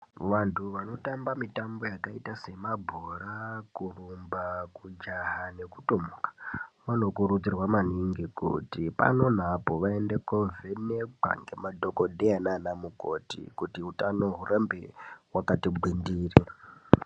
Vandu vanotamba mitambo yakaita semabhora kurumba kujaha nekutomuka vanokurudzirwa maningi kuti pano neapo vaende kovhenekwa ngemadhokodheya nanamukoti kuti hutano hurambe hwakati gwindiri.